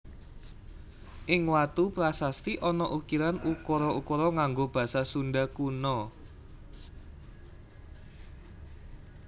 Ing watu prasasti ana ukiran ukara ukara nganggo basa Sunda Kuna